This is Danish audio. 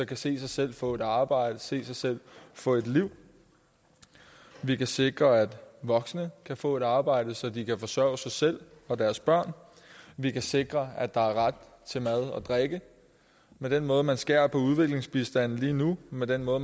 kan se sig selv få et arbejde se sig selv få et liv vi kan sikre at voksne kan få et arbejde så de kan forsørge sig selv og deres børn vi kan sikre at der er ret til mad og drikke med den måde hvorpå man skærer på udviklingsbistanden lige nu med den måde